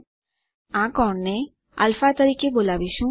આપણે આ કોણને α તરીકે બોલાવીશું